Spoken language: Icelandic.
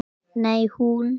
Nei, hún.